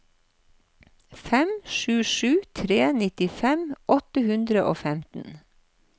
fem sju sju tre nittifem åtte hundre og femten